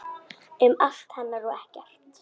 Um allt hennar og ekkert.